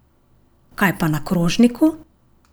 Kaj pa na krožniku?